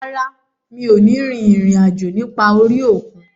Rárá, mi ò ní rin ìrìn àjò nípa orí òkun